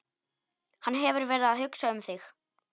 Hann hefur verið að hugsa um þig.